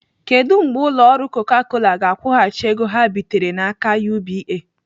Kedụ mgbe ụlọ ọrụ Coca Cola ga-akwụghachi ego ha bitere n'aka UBA?